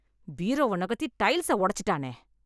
பீரோவை நகர்த்தி டைல்ஸை உடைச்சுட்டானே.